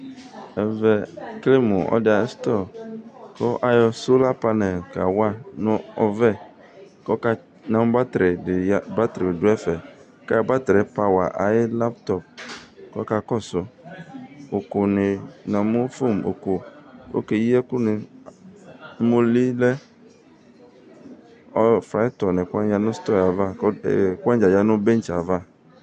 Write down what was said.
Ɛvɛ ekele mʋ ɔlɔdɩ ayʋ stɔr kʋ ayɔ sola panɛl kawa nʋ ɔvɛ kʋ ɔka namʋ batrɩdɩ dʋ ɛfɛ. Kʋ ayɔ batrɩ yɛ yɔpwa ayʋ laptɔp kʋ ɔkakɔsʋ, ʋkʋnɩ namʋ fon ʋkʋ, okeyi ɛkʋnɩ, ʋmolɩ lɛ, fryitɔ nʋ ɛkʋwanɩ yanʋ stɔr yɛ ava kʋ ɛkʋwanɩ dza yanʋ bɛtsɛ yɛ ava.